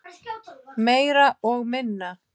Meira og minna.